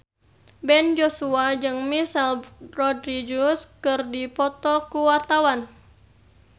Ben Joshua jeung Michelle Rodriguez keur dipoto ku wartawan